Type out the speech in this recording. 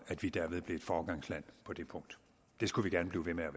at vi derved blev et foregangsland på det punkt det skulle vi gerne blive ved med